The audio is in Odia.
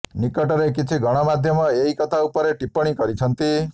ନିକଟରେ କିଛି ଗଣମାଧ୍ୟମ ଏହି କଥା ଉପରେ ଟିପ୍ପଣୀ କରିଛନ୍ତି